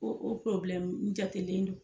O o jatelen don.